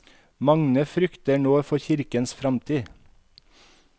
Mange frykter nå for kirkens fremtid.